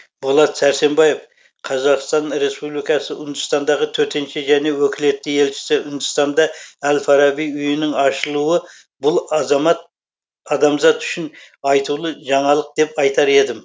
болат сәрсенбаев қазақстан республикасы үндістандағы төтенше және өкілетті елшісі үндістанда әл фараби үйінің ашылуы бұл азамат адамзат үшін айтулы жаңалық деп айтар едім